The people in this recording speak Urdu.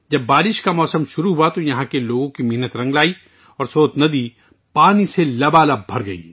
جب برسات کا موسم شروع ہوا تو یہاں کے لوگوں کی محنت رنگ لائی اور سوت ندی پانی سے بھر گئی